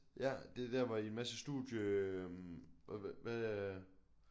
Ja det der hvor I masse studie øh hvad